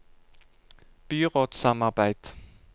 byrådssamarbeid